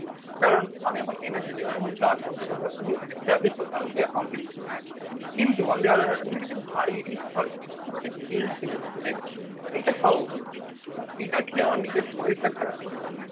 কারণ আমি এখন এনার্জি দিলাম. আমি এখন কাজ করতে পারবো. আমি কিছু এস্টাব্লিশ করতে পারবো. আমি কিছু অ্যাকমপ্লিশ করতে পারবো কিন্তু অন দি আদার . তুমি কিছু ভারী রিস্ক খাবার খেয়ে নি. খুব একটা গিল্ড ফিলিং আসবে যে এটা খাওয়া উচিত. এটা খেয়ে আমার নিজের শরীরটা খারাপ করে গেছে.